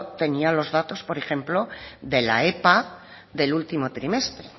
tenía los datos por ejemplo de la epa del último trimestre